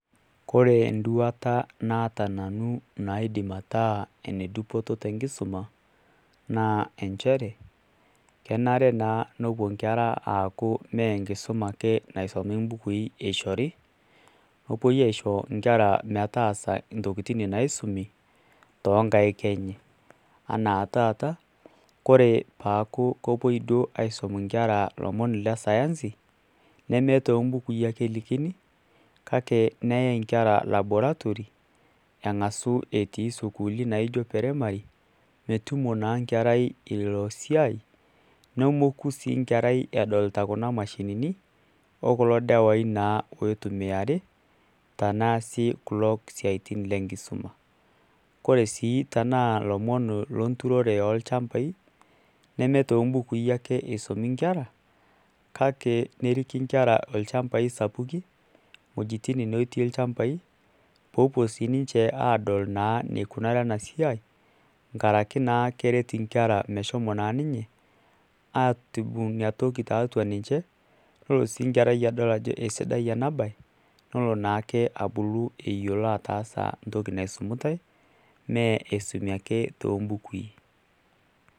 Kore duata naata nanu enaidim etaa enetipat tenkisuma naa inchere kenare naa nemupi inkera aaku meenkisuma ake naisomi imbukui eeishori nepuoi aaisho inkera intokitin naisumi toonkaik enye enaa taaata kore peeku kepuoi aisum inkera lomon lesayansi nemetoombukui ale elekini neyai inkera laboratory etii isukuuli naijio primary nemetu tumo naa nkerai ilo siai nemoku sii nkerai edolita kuna mashini odawai naa oitumiari tenaa sii kulo siatin lenkisuma kore sii tenaa lomon lenturore oolchambai nemetoombukui ake esimumi lomon kake neriki inkera inchambai sapukin iwuejitin naatk ilchambai peepuo siii ninche aadol neikunari enasiai nkaraki naa keret inkera meshomo naa ninye atum inatoki tiatu ninye nedol sii nkerai ajo esidai ena baye nelonaake abulu eyialo ataasa. entoki naisumitai mee esimu ake toombukui.